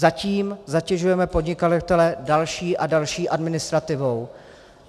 Zatím zatěžujeme podnikatele další a další administrativou.